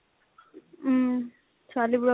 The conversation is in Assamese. উম ছোৱালী